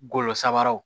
Golo sabaraw